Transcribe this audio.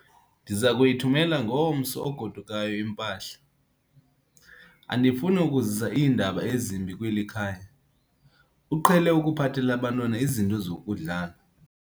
Ndiza kuyithumela ngomntu ogodukayo impahla. andifuni ukuzisa iindaba ezimbi kweli khaya, uqhele ukuphathela abantwana izinto zokudlala